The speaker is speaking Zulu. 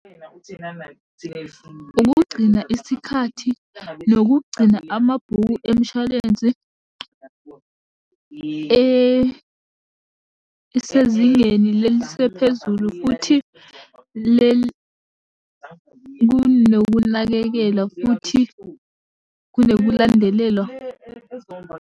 Ukugcina isikhathi, nokugcina amabhuku emishwalensi esezingeni leli sephezulu, futhi leli kunokunakekela futhi kunokulandelelwa.